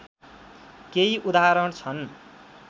केही उदाहरण छन्